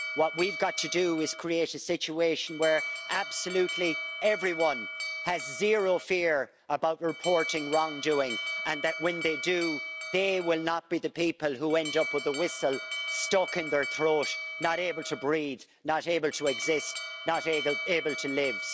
What we've got to do is create a situation where absolutely everyone has zero fear about reporting wrongdoing and that, when they do, they will not be the people who end up with the whistle stuck in their throat, not able to breathe, not able to exist, not able to live.